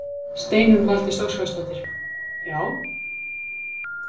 Steinunn Valdís Óskarsdóttir: Já?